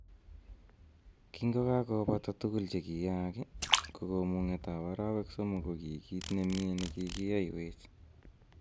Kingokakobata tugul che kiyaak ii, ko komung'etab arawek somok, ko ki kiit ne mie ne kigiyoiwech